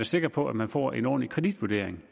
sikker på at man får en ordentlig kreditvurdering